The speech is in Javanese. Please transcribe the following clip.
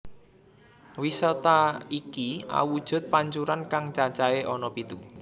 Wisata iki awujud pancuran kang cacahé ana pitu